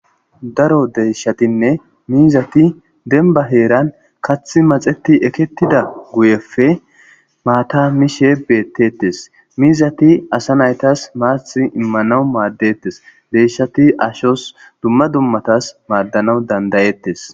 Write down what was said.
Daro deyshatinne mizata demban.maata mishe detes